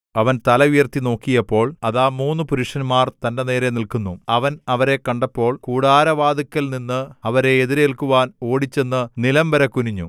അവൻ തല ഉയർത്തിനോക്കിയപ്പോൾ അതാ മൂന്നു പുരുഷന്മാർ തന്‍റെ നേരെ നില്ക്കുന്നു അവൻ അവരെ കണ്ടപ്പോൾ കൂടാരവാതിൽക്കൽ നിന്ന് അവരെ എതിരേൽക്കുവാൻ ഓടിച്ചെന്ന് നിലംവരെ കുനിഞ്ഞു